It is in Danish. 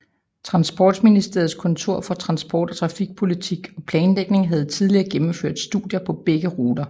Transportministeriets Kontor for Transport og Trafikpolitik og Planlægning havde tidligere gennemført studier på begge ruter